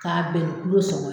Ka ben kulo sɔngɔn